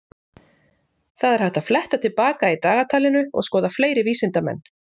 Það er hægt að fletta til baka í dagatalinu og skoða fleiri vísindamenn.